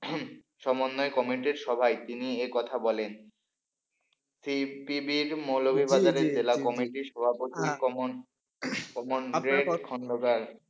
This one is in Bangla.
সমন্বয় কমিটির সভায় তিনি এ কথা বলেন। সিপিবি মৌলভীবাজারের জেলা কমিটির সভাপতি কমল দেব খন্দকার,